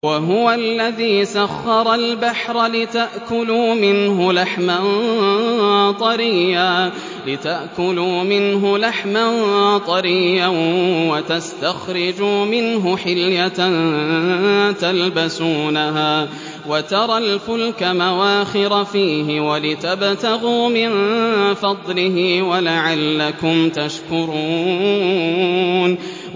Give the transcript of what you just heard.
وَهُوَ الَّذِي سَخَّرَ الْبَحْرَ لِتَأْكُلُوا مِنْهُ لَحْمًا طَرِيًّا وَتَسْتَخْرِجُوا مِنْهُ حِلْيَةً تَلْبَسُونَهَا وَتَرَى الْفُلْكَ مَوَاخِرَ فِيهِ وَلِتَبْتَغُوا مِن فَضْلِهِ وَلَعَلَّكُمْ تَشْكُرُونَ